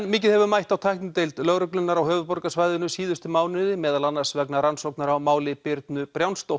mikið hefur mætt á tæknideild lögreglunnar á höfuðborgarsvæðinu síðustu mánuði meðal annars vegna rannsóknar á máli Birnu